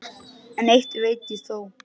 En eitt veit ég þó.